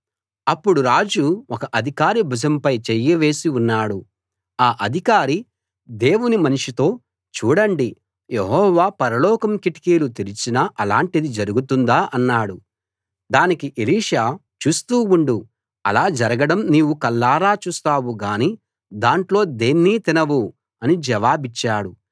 అప్పుడు రాజు ఒక అధికారి భుజంపై చెయ్యి వేసి ఉన్నాడు ఆ అధికారి దేవుని మనిషితో చూడండి యెహోవా పరలోకం కిటికీలు తెరిచినా అలాంటిది జరుగుతుందా అన్నాడు దానికి ఎలీషా చూస్తూ ఉండు అలా జరగడం నీవు కళ్ళారా చూస్తావు గానీ దాంట్లో దేన్నీ తినవు అని జవాబిచ్చాడు